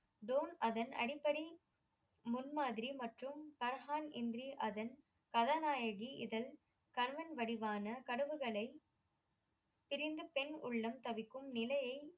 தோன் அதன் அடிப்படை முன்மாதிரி மற்றும் பர்ஹான் என்று அதன் கதாநாயகி இதழ் கண்ணன் வடிவான கடவுகளை பிரிந்து பெண் உள்ளம் தவிக்கும் நிலையை